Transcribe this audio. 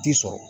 Ti sɔrɔ